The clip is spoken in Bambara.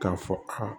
K'a fɔ aa